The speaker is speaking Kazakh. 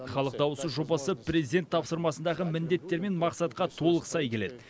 халық дауысы жобасы президент тапсырмасындағы міндеттер мен мақсатқа толық сай келеді